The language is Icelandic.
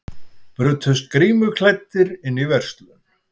Brutust grímuklæddir inn í verslun